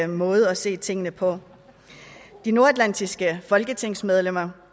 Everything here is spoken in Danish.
måde at se tingene på de nordatlantiske folketingsmedlemmer